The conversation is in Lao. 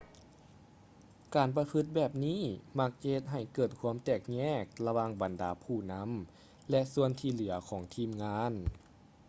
ການປະພຶດແບບນີ້ມັກຈະເຮັດໃຫ້ເກີດຄວາມແຕກແຍກລະຫວ່າງບັນດາຜູ້ນຳ ແລະ ສ່ວນທີ່ເຫຼືອຂອງທີມງານ